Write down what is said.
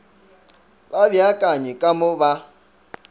ba beakanye ka mo ba